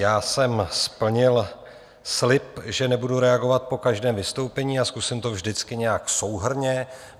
Já jsem splnil slib, že nebudu reagovat po každém vystoupení a zkusím to vždycky nějak souhrnně.